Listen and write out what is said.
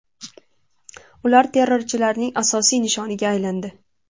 Ular terrorchilarning asosiy nishoniga aylandi.